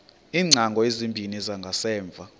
iingcango ezimbini zangasemva